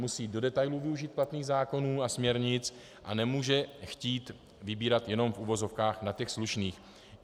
Musí do detailů využít platných zákonů a směrnic a nemůže chtít vybírat jenom v uvozovkách na těch slušných.